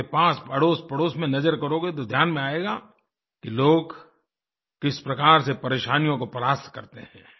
आपके पास अड़ोसपड़ोस में नज़र करोगे तो ध्यान में आएगा कि लोग किस प्रकार से परेशानियों को परास्त करते हैं